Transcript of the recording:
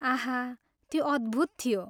आह! त्यो अद्भुत थियो।